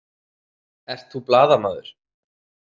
Ert þú blaðamaður?